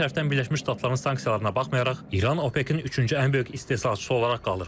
Digər tərəfdən Birləşmiş Ştatların sanksiyalarına baxmayaraq, İran OPEC-in üçüncü ən böyük istehsalçısı olaraq qalır.